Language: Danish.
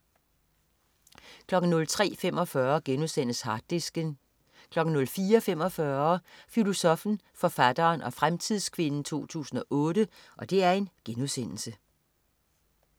03.45 Harddisken* 04.45 Filosoffen, forfatteren og fremtidskvinden 2008*